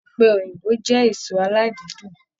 Ọpẹ Òyìnbó jẹ èso aladidun.